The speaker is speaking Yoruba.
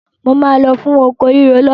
Mo máa lọ fún oko rírò lọ́la.